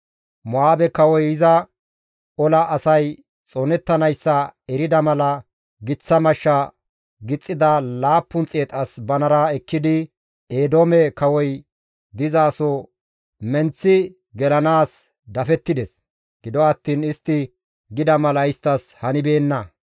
Mo7aabe kawoy iza ola asay xoonettanayssa erida mala giththa mashsha gixxida 700 as banara ekkidi Eedoome kawoy dizaso menththi gelanaas dafettides; gido attiin istti gida mala isttas hanibeenna.